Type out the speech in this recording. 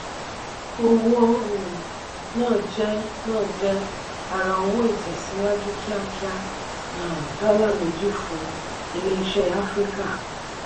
owó um na je na je ara owó itesiwaju kiakia um dola méjì fún ilé ìṣe áfríkà.